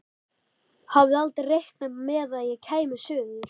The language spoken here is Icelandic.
Hafði aldrei reiknað með að ég kæmi suður.